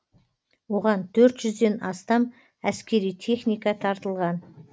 оған төрт жүзден астам әскери техника тартылған